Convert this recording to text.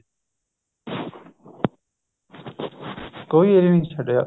ਕੋਈ area ਨੀ ਛੱਡਿਆ